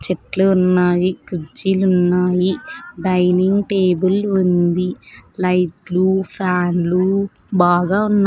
చెట్లు ఉన్నాయి కుజ్జీలు ఉన్నాయి డైనింగ్ టేబుల్ ఉంది లైట్లు ఫ్యాన్లు బాగా ఉన్న--